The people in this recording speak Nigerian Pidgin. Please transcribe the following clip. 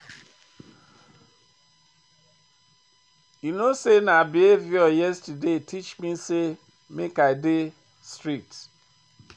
You know sey na her behaviour yesterday teach me sey make I dey strict.